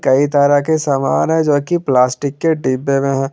कई तरह के समान है जो की प्लास्टिक के डिब्बे में है।